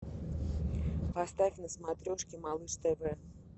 поставь на смотрешке малыш тв